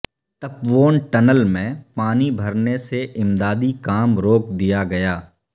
Tapovan tunnel میں پانی بھرنے سے امدادی کام روک دیا گیا